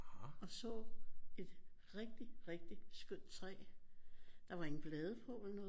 Og så et rigtig rigtig skønt træ der var ingen blade på eller noget